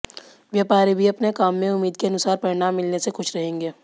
व्यापारी भी अपने काम में उम्मीद के अनुसार परिणाम मिलने से खुश रहेंगे